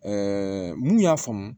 mun y'a faamu